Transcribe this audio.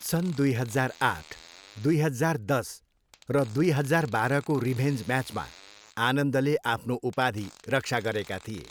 सन् दुई हजार आठ, दुई हजार दस र दुइ हजार बाह्रको रिभेन्ज म्याचमा आनन्दले आफ्नो उपाधि रक्षा गरेका थिए।